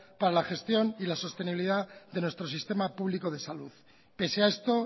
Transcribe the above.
para la gestión y la sostenibilidad de nuestro sistema público de salud pese a esto